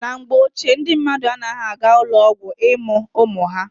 Na mgbe ochie, ndị mmadụ anaghị aga ụlọ ọgwụ ịmụ ụmụ ha.